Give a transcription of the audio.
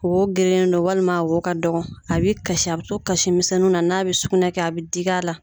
Wo gerenen don walima a wo ka dɔgɔ, a bɛ kasi a bɛ to kasimisɛn nunna n'a bɛ sugunɛkɛ a bɛ digi a la.